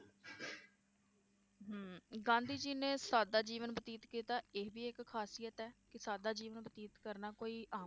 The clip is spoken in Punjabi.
ਗਾਂਧੀ ਜੀ ਨੇ ਸਾਦਾ ਜੀਵਨ ਬਤੀਤ ਕੀਤਾ ਇਹ ਵੀ ਇਕ ਖ਼ਾਸਿਯਤ ਹੈ ਕਿ ਸਾਦਾ ਜੀਵਨ ਬਤੀਤ ਕਰਨਾ ਕੋਈ ਆਮ